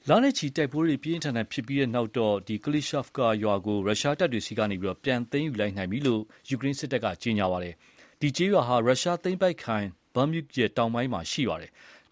လနဲ့ချီ တိုက်ပွဲတွေ ပြင်းပြင်းထန်ထန်ဖြစ်ပြီးနောက် Klishchiivka ရွာကို ရုရှားတပ်တွေဆီကနေ ပြန်သိမ်းယူလိုက်ပြီလို့ ယူကရိန်းစစ်တပ်က ပြောပါတယ်။ ဒီ ကျေးရွာဟာ ရုရှားသိမ်းပိုက်ခံ Bakhmut ရဲ့ တောင်ပိုင်းမှာ တည်ရှိပါတယ်။